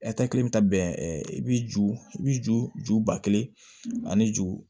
bɛ taa bɛn i b'i ju i b'i ju ju ba kelen ani ju